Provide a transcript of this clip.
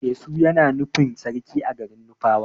Etsu Yana nufin sarki a garin nufawa.